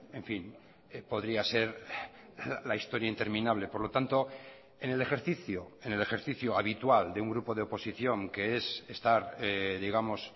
en fin podría ser la historia interminable por lo tanto en el ejercicio en el ejercicio habitual de un grupo de oposición que es estar digamos